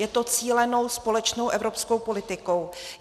Je to cílenou společnou evropskou politikou.